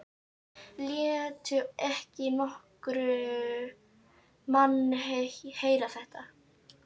Láttu ekki nokkurn mann heyra þetta!